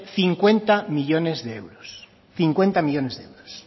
cincuenta millónes de euros cincuenta millónes de euros